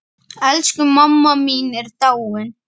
Elsku mamma mín er dáin.